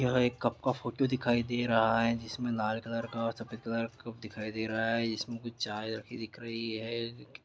यह एक कप का फोटू दिखाई दे रहा है जिसमें लाल कलर और सफेद कलर का कप दिखाई दे रहा है जिसमें कुछ चाय रखी दिख रही है।